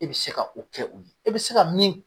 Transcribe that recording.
E bɛ se ka o kɛ u ye. E bɛ se ka min